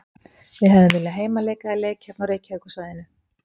Við hefðum viljað heimaleik eða leik hérna á Reykjavíkursvæðinu.